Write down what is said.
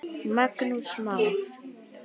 Magnús Már.